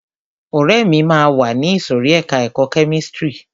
Ọ̀rẹ́ mi máa wá sí ìsòrí ẹka ẹ̀kọ́ kẹ́místrì.